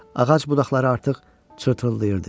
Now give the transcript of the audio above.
Ağac budaqları artıq çartıldayırdı.